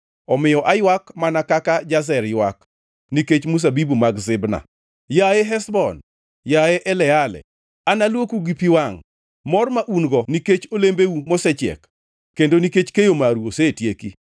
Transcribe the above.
Omiyo aywak mana kaka Jazer ywak nikech mzabibu mag Sibma. Yaye Heshbon, yaye Eleale, analuoku gi pi wangʼ. Mor ma un-go nikech olembeu mosechiek kendo nikech keyo maru osetieki.